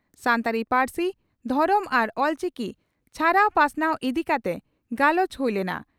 ᱥᱟᱱᱛᱟᱲᱤ ᱯᱟᱹᱨᱥᱤ, ᱫᱷᱚᱨᱚᱢ ᱟᱨ ᱚᱞᱪᱤᱠᱤ ᱪᱷᱟᱨᱟᱣ ᱯᱟᱥᱱᱟᱣ ᱤᱫᱤ ᱠᱟᱛᱮ ᱜᱟᱞᱚᱪ ᱦᱩᱭ ᱞᱮᱱᱟ ᱾